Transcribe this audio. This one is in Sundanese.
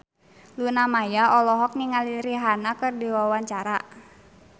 Luna Maya olohok ningali Rihanna keur diwawancara